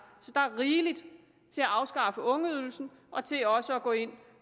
rigeligt til at afskaffe ungeydelsen og til også at gå ind